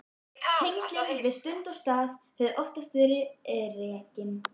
Tengslin við stund og stað höfðu oftast verið á reiki.